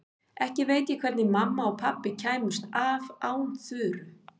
Ekki veit ég hvernig mamma og pabbi kæmust af án Þuru.